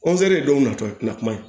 ye dɔw natɔ ye tina kuma ye